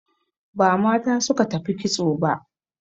Ba mata suka tafi kitso ba